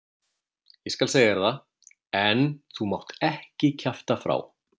Ég skal segja þér það, en þú mátt ekki kjafta frá.